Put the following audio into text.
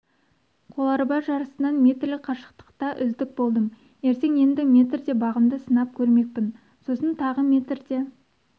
қол арба жарысынан метрлік қашықтықта үздік болдым ертең енді метрде бағымды сынап көрмекпін сосын тағы метрде